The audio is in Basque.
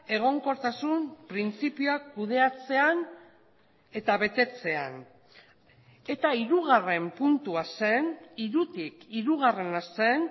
egonkortasun printzipioak kudeatzean eta betetzean eta hirugarren puntua zen hirutik hirugarrena zen